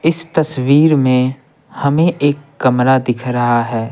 इस तस्वीर में हमें एक कमरा दिख रहा है।